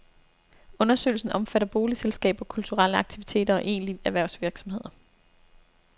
Undersøgelsen omfatter boligselskaber, kulturelle aktiviteter og egentlige erhvervsvirksomheder.